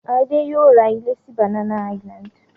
Adé yóò ra ilé sí Banana Island.